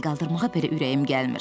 ona əl qaldırmağa belə ürəyim gəlmir.